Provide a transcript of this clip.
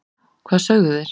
hvað sögðu þeir?